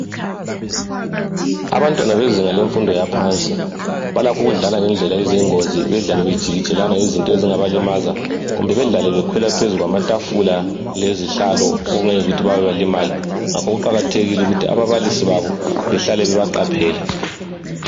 Abantwana bezinga lemfundo yaphansi balakho ukudlala ngendlela eyingozi. Balakho ukujikijelana ngezinto ezingabalimaza kumbe bakhwele phezu kwamatafula lezihlalo bawe balimale ngakho kuqakathekile ukuthi ababalisi babo bahlale bebaqaphele.